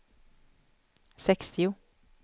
sextio